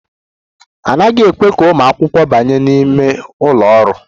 A naghị ekwe ka ụmụ akwụkwọ banye n'ime ụlọ ọrụ.